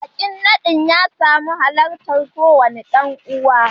Bikin nadin ya samu halartar kowane dan uwa